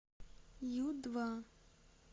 ю два